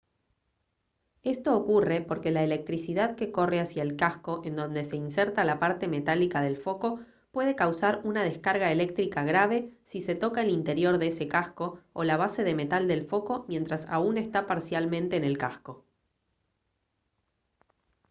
esto ocurre porque la electricidad que corre hacia el casco en donde se inserta la parte metálica del foco puede causar una descarga eléctrica grave si se toca el interior de ese casco o la base de metal del foco mientras aún está parcialmente en el casco